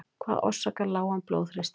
Hvað orsakar lágan blóðþrýsting?